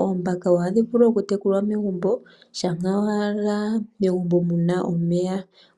Oombaka ohadhi vulu oku tekulwa megumbo shampa owala megumbo muna omeya